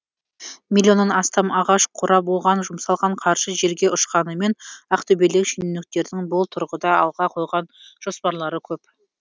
миллионнан астам ағаш қурап оған жұмсалған қаржы желге ұшқанымен ақтөбелік шенеуніктердің бұл тұрғыда алға қойған жоспарлары көп